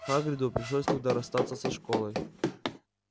хагриду пришлось тогда расстаться со школой